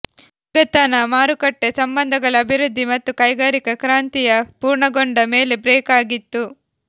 ಊಳಿಗತನ ಮಾರುಕಟ್ಟೆ ಸಂಬಂಧಗಳ ಅಭಿವೃದ್ಧಿ ಮತ್ತು ಕೈಗಾರಿಕಾ ಕ್ರಾಂತಿಯ ಪೂರ್ಣಗೊಂಡ ಮೇಲೆ ಬ್ರೇಕ್ ಆಗಿತ್ತು